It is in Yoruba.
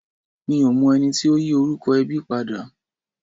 Mi ò mọ ẹni tí ó yí orúkọ ẹbí padà.